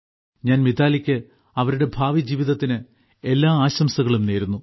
ഞാൻ മിതാലിക്ക് അവരുടെ ഭാവിജീവിതത്തിന് എല്ലാ ആശംസകളും നേരുന്നു